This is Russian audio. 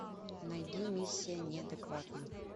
найди миссия неадекватна